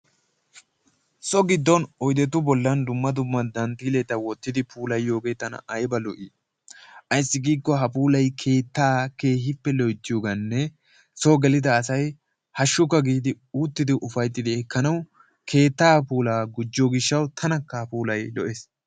So giddon oydetu bollan dumma dumma dantteelleta wottidi puulayiyogee tana ayba lo'ii! Ayssi giikko ha puulay keettaa keehippe loyttiyogaanne sooo gelida asay hashshukka giidi uttidi ufaytti ekkanawu keettaa puulaa gujjo gishshawu tanakka ha puulay lo'ees.